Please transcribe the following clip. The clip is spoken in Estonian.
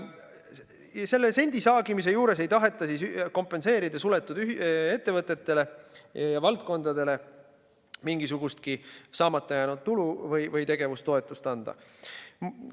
Ja selle sendisaagimise juures ei taheta kompenseerida suletud ettevõtetele ja valdkondadele mingisugustki saamata jäänud tulu või tegevustoetust anda.